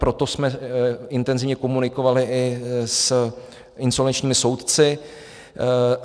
Proto jsme intenzivně komunikovali i s insolvenčními soudci.